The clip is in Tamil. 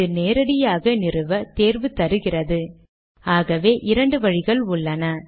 இது நேரடியாக நிறுவ தேர்வு தருகிறது ஆகவே இரண்டு வழிகள் உள்ளன